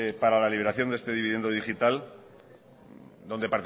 para la liberación de este dividendo digital